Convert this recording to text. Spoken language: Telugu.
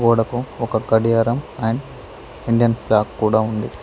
గోడకు ఒక కడియారం అండ్ ఇండియన్ ఫ్లాక్ కూడా ఉంది.